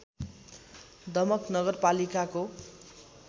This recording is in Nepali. दमक नगरपालिकाको